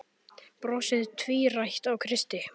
Brosið tvírætt á Kristi.